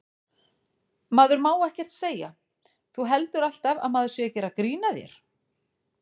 Maður má ekkert segja. þú heldur alltaf að maður sé að gera grín að þér.